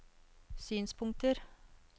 synspunkter